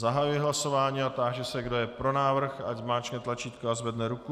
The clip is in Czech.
Zahajuji hlasování a táži se, kdo je pro návrh, ať zmáčkne tlačítko a zvedne ruku.